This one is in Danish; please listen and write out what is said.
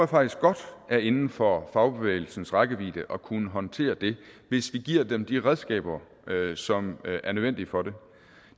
faktisk godt er inden for fagbevægelsens rækkevidde at kunne håndtere hvis vi giver dem de redskaber som er nødvendige for det